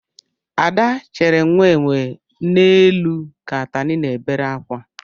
Ada chiri nwa enwe n'elu ka atani na-ebere akwa